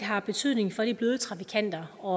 har betydning for de bløde trafikanter og